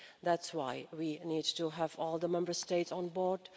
That's why we need to have all the Member States on board.